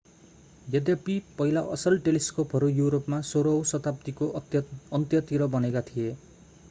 यद्यपि पहिला असल टेलिस्कोपहरू युरोपमा 16 औँ शताब्दीको अन्त्यतिर बनेका थिए